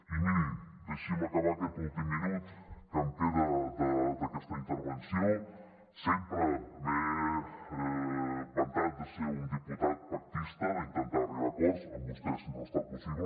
i miri deixi’m acabar aquest últim minut que em queda d’aquesta intervenció sempre m’he vantat de ser un diputat pactista d’intentar arribar a acords amb vostès no ha estat possible